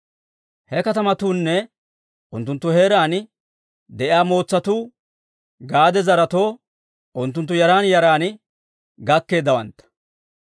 He katamatuunne unttunttu heeraan de'iyaa mootsatuu Gaade zaretoo unttunttu yaran yaran gakkeeddawantta.